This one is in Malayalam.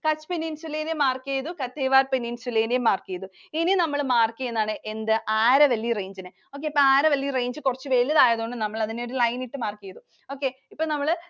Kutch Peninsula ഉം mark ചെയ്‌തു. Kathiawar Peninsula നെയും mark ചെയ്‌തു. ഇനി നമ്മൾ mark ചെയ്യുന്നതാണ് എന്ത് Aravalli Range നെ. okay. Aravalli Range കുറച്ചു വലുതായതുകൊണ്ടു നമ്മൾ അതിനെ ഒരു line ഇട്ടു mark ചെയ്‌തു.